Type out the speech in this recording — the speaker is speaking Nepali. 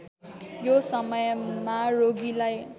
यो समयमा रोगीलाई